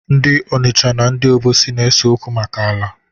Ndị Ọnịcha na ndị Obosi na-ese okwu maka ala.